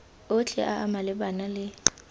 otlhe a a malebana le